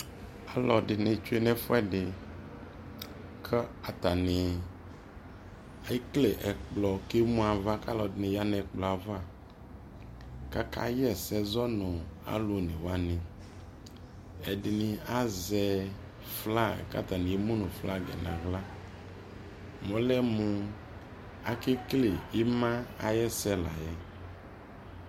alʋɛdini twɛ nʋ ɛfʋɛdi kʋ ɔtani ɛklɛ kʋ ɛmʋ aɣa kʋ alʋɛdini yanʋ ɛkplɔɛ aɣa, kʋ aka yɛsɛ zɔnʋ alʋ ɔnɛ wani, ɛdini azɛ flag kʋ atani ɛmʋnʋ flagiɛ nʋ ala, mʋ ɔlɛmʋ akɛ kɛlɛ ɛma ayɛsɛ layɛ